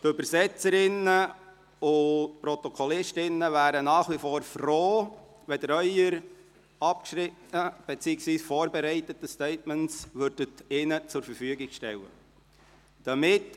Die Übersetzerinnen und die Protokollführerinnen wären nach wie froh, wenn Sie ihnen Ihre abgeschriebenen beziehungsweise schriftlich vorbereiteten Statements zur Verfügung stellen würden.